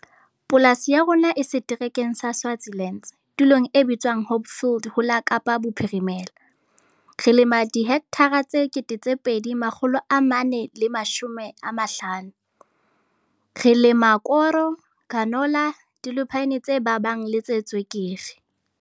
Polasi ya rona e Seterekeng sa Swartland, tulong e bitswang Hopefield ho la Kaapa Bophirimela. Re lema dihekthara tse 2 450. Re lema koro, canola, dilupine tse babang le tse tswekere.